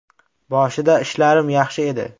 Boshida ishlarim yaxshi edi.